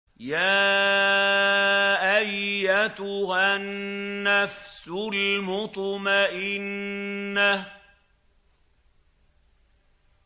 يَا أَيَّتُهَا النَّفْسُ الْمُطْمَئِنَّةُ